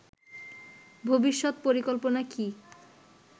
ভবিষৎ পরিকল্পনা কী